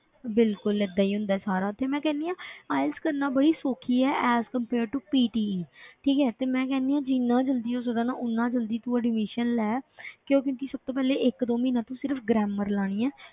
ਬਿਲਕੁਲ ਏਦਾਂ ਹੀ ਹੁੰਦਾ ਹੈ ਸਾਰਾ ਤੇ ਮੈਂ ਕਹਿੰਦੀ ਹਾਂ IELTS ਕਰਨਾ ਬੜੀ ਸੌਖੀ ਹੈ as compare to PTE ਠੀਕ ਹੈ ਤੇ ਮੈਂ ਕਹਿੰਦੀ ਹਾਂ ਜਿੰਨਾ ਜ਼ਲਦੀ ਹੋ ਸਕਦਾ ਨਾ, ਓਨਾ ਜ਼ਲਦੀ ਤੂੰ admission ਲੈ ਕਿਉਂ ਕਿਉਂਕਿ ਸਭ ਤੋਂ ਪਹਿਲੇ ਇੱਕ ਦੋ ਮਹੀਨਾ ਤੂੰ ਸਿਰਫ਼ grammar ਲਾਉਣੀ ਹੈ,